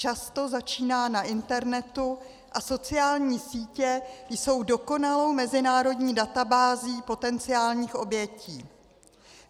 Často začíná na internetu a sociální sítě jsou dokonalou mezinárodní databází potenciálních obětí.